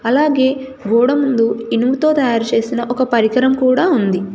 అలాగే గోడ ముందు ఇనుముతో తయారు చేసిన ఒక పరికరం కూడా ఉంది.